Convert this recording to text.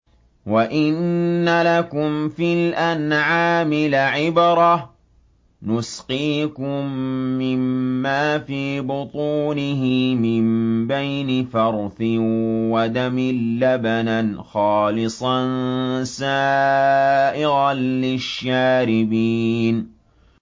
وَإِنَّ لَكُمْ فِي الْأَنْعَامِ لَعِبْرَةً ۖ نُّسْقِيكُم مِّمَّا فِي بُطُونِهِ مِن بَيْنِ فَرْثٍ وَدَمٍ لَّبَنًا خَالِصًا سَائِغًا لِّلشَّارِبِينَ